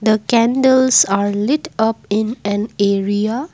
the candles are lit up in an area.